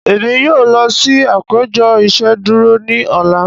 Emi yoo lọ si apejọ iṣeduro ni ọla.